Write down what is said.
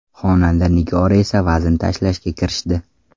Xonanda Nigora esa vazn tashlashga kirishdi.